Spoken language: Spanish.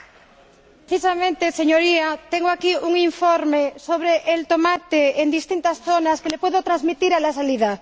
Señor Presidente, precisamente, Señoría, tengo aquí un informe sobre el tomate en distintas zonas que le puedo transmitir a la salida.